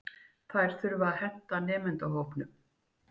Þær þurfa að henta nemendahópnum.